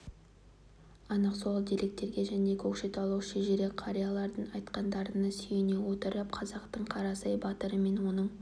анық сол деректерге және көкшетаулық шежіре қариялардың айтқандарына сүйене отырып қазақтың қарасай батыры мен оның